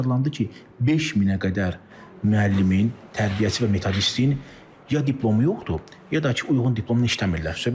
Aşkarlanadı ki, 5000-ə qədər müəllimin, tərbiyəçi və metodistin ya diplomu yoxdur, ya da ki, uyğun diplomla işləmirlər.